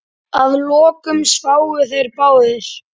Að lokum sváfu þeir báðir.